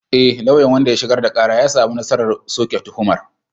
E, lauyan wanda ya shigar da kara ya samu nasarar soke tuhumar.